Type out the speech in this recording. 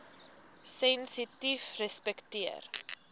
sensitiefrespekteer